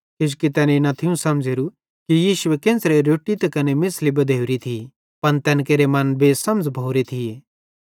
किजोकि तैनेईं न थियूं समझ़ोरू कि यीशु केन्च़रां रोट्टी त कने मेछ़ली बधोरी थी पन तैन केरे मन बेसमझ़ भोरे थिये